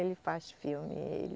Ele faz filme.